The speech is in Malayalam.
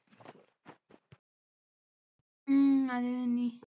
ഉം അതെ നനി